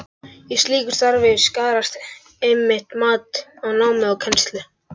Í slíku starfi skarast einmitt mat á námi og kennslu.